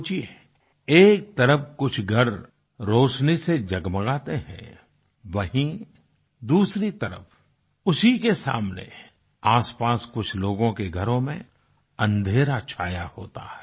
सोचिये एक तरफ कुछ घर रोशनी से जगमगाते हैं वहीं दूसरी तरफ उसी के सामने आसपास कुछ लोगों के घरों में अन्धेरा छाया होता है